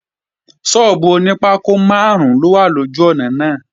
Sọ́ọ́bù oní pákó máàrún ló wà lójú ọ̀nà náà